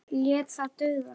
Lét það duga.